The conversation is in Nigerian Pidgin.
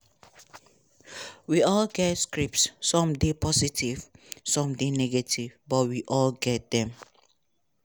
we all get scripts some dey positive some dey negative but we all get dem.